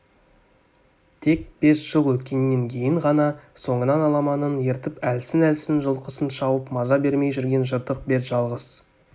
тек бес жыл өткеннен кейін ғана соңынан аламанын ертіп әлсін-әлсін жылқысын шауып маза бермей жүрген жыртық бет жалғыз